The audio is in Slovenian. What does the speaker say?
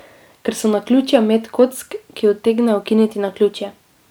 Ker so naključja met kock, ki utegne ukiniti naključje.